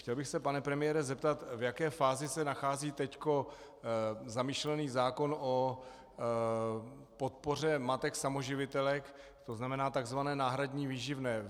Chtěl bych se, pane premiére, zeptat, v jaké fázi se nachází teď zamýšlený zákon o podpoře matek samoživitelek, to znamená tzv. náhradní výživné.